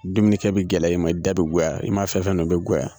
Duminikɛ bi gɛlɛya i ma i da bi goya i ma fɛn fɛn dun o bɛɛ bi goya.